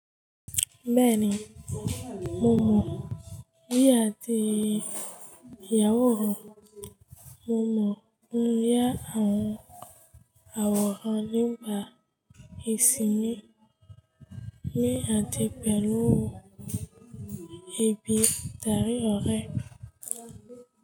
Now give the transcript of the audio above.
Bẹ́ẹ̀ni, mo mọ̀ ní àti ìyàwó rẹ̀. Mo mọ̀ nínú yá àwọn àwòrán nígbà ìsinmi mi àti pẹ̀lú òun. Ebi darí ọ̀rẹ́.